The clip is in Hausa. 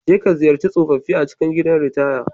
Jeka ziyarci tsofaffi a cikin gidan ritaya.